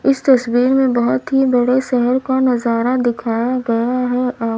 इस तस्वीर में बहोत ही बड़े शहर का नजारा दिखाया गया है --